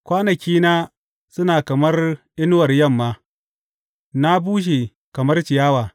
Kwanakina suna kamar inuwar yamma; na bushe kamar ciyawa.